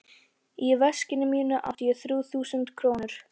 Í veskinu mínu átti ég þrjú þúsund krónur.